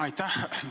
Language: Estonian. Aitäh!